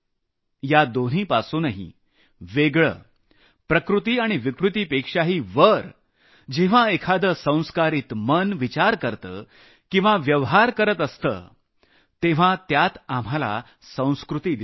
या दोन्हीच्या पलीकडे जाऊन प्रकृती आणि विकृतीपेक्षाही जेव्हा एखादं संस्कारित मन विचार करतं किंवा व्यवहार करत असतं तेव्हा त्यात आपल्याला संस्कृती दिसते